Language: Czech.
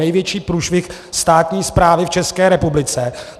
Největší průšvih státní správy v České republice.